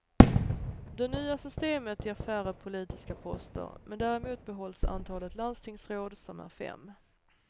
Det nya systemet ger färre politiska poster, men däremot behålls antalet landstingsråd som är fem.